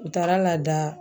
O taara lada